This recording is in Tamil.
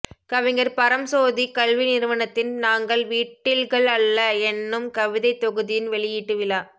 கவிஞர் பரம்சோதி கல்வி நிறுவனத்தின் நாங்கள் விட்டில்கள் அல்ல என்னும் கவிதைத் தொகுதியின் வெளியீட்டு விழா